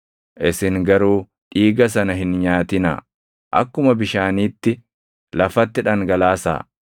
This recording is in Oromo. Isin garuu dhiiga sana hin nyaatinaa; akkuma bishaaniitti lafatti dhangalaasaa.